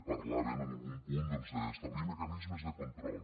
parlaven en algun punt doncs d’establir mecanismes de control